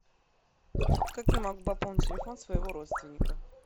как я могу пополнить телефон своего родственника